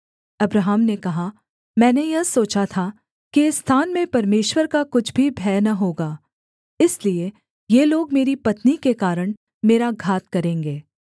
Abraham ने कहा मैंने यह सोचा था कि इस स्थान में परमेश्वर का कुछ भी भय न होगा इसलिए ये लोग मेरी पत्नी के कारण मेरा घात करेंगे